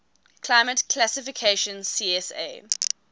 climate classification csa